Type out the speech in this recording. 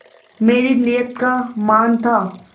मेरी नीयत का मान था